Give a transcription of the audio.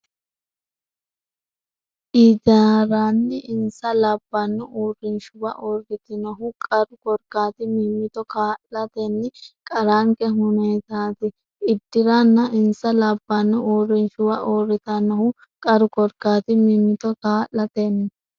Iddirranna insa labbanno uurrinshuwa uurritannohu qaru korkaati mimmito kaa’latenni qarranke hunateeti Iddirranna insa labbanno uurrinshuwa uurritannohu qaru korkaati mimmito kaa’latenni.